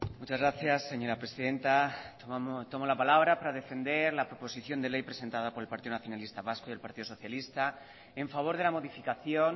muchas gracias señora presidenta tomo la palabra para defender la proposición de ley presentada por el partido nacionalista vasco y el partido socialista en favor de la modificación